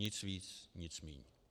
Nic ví, nic míň.